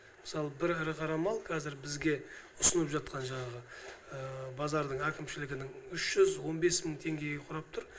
мысалы бір ірі қара мал қазір бізге ұсынып жатқан жаңағы базардың әкімшілігінің үш жүз он бес мың теңгеге құрап тұр